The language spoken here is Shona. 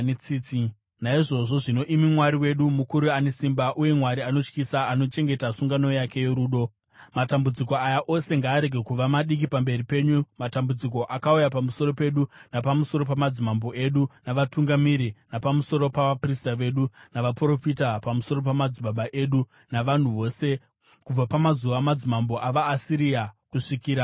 “Naizvozvo zvino, imi Mwari wedu, mukuru, ane simba, uye Mwari anotyisa, anochengeta sungano yake yorudo, matambudziko aya ose ngaarege kuva madiki pamberi penyu, matambudziko akauya pamusoro pedu, napamusoro pamadzimambo edu navatungamiri, napamusoro pavaprista vedu navaprofita, pamusoro pamadzibaba edu navanhu vose, kubva pamazuva amadzimambo avaAsiria kusvikira nhasi.